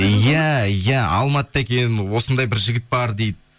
иә алматыда екен осындай бір жігіт бар дейді